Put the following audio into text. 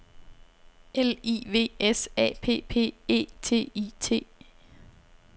L I V S A P P E T I T